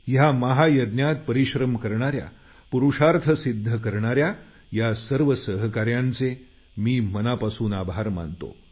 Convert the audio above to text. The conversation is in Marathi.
या महायज्ञात परिश्रम करणाऱ्या पुरुषार्थ सिद्ध करणाऱ्या या सर्व सहकाऱ्यांचे मी मनापासून आभार मानतो